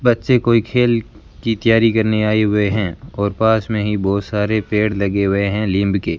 बच्चे कोई खेल की तैयारी करने आए हुए है और पास में ही बहोत सारे पेड़ लगे हुए है लिंब के --